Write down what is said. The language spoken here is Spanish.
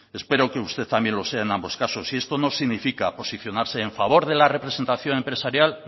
espero que usted también lo sea en ambos casos y esto no significa posicionarse en favor de la representación empresarial